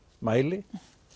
mæli